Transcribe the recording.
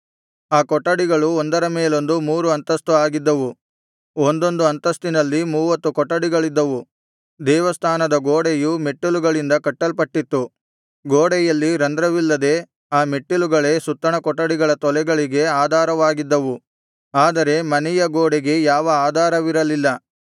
ಆ ಕೊಠಡಿಗಳು ಒಂದರ ಮೇಲೊಂದು ಮೂರು ಅಂತಸ್ತು ಆಗಿದ್ದವು ಒಂದೊಂದು ಅಂತಸ್ತಿನಲ್ಲಿ ಮೂವತ್ತು ಕೊಠಡಿಗಳಿದ್ದವು ದೇವಸ್ಥಾನದ ಗೋಡೆಯು ಮೆಟ್ಟಿಲುಗಳಿಂದ ಕಟ್ಟಲ್ಪಟ್ಟಿತ್ತು ಗೋಡೆಯಲ್ಲಿ ರಂಧ್ರವಿಲ್ಲದೆ ಆ ಮೆಟ್ಟಿಲುಗಳೇ ಸುತ್ತಣ ಕೊಠಡಿಗಳ ತೊಲೆಗಳಿಗೆ ಆಧಾರವಾಗಿದ್ದವು ಆದರೆ ಮನೆಯ ಗೋಡೆಗೆ ಯಾವ ಆಧಾರವಿರಲಿಲ್ಲ